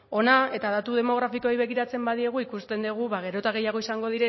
hona eta datu demografikoei begiratzen badiegu ikusten dugu ba gero eta gehiago izango